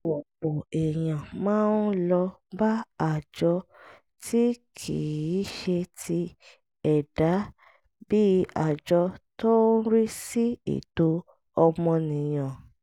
ọ̀pọ̀ èèyàn máa ń lọ bá àjọ tí kì í ṣe ti ẹ̀dá bíi àjọ tó ń rí sí ẹ̀tọ́ ọmọnìyàn